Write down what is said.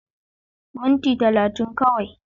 Minti 30 kawai.